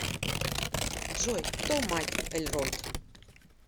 джой кто мать эльронд